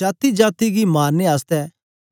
जातीजाती गी मारने आसतै